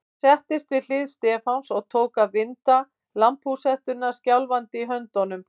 Hann settist við hlið Stefáns og tók að vinda lambhúshettuna skjálfandi höndum.